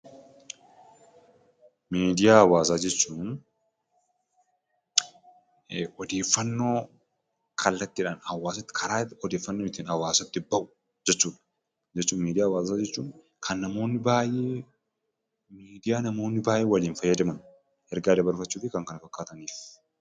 Miidiyaa hawaasaa jechuun karaa odeeffannoon hawaasatti ittiin bahu jechuudha. Miidiyaa hawaasaa jechuun kan namoonni baay'een odeeffannoo argachuuf jecha itti fayyadamanidha.